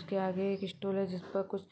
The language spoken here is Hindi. इसके आगे एक इस्टोर है जिस पर कुछ